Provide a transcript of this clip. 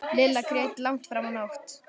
Lilla grét langt fram á nótt.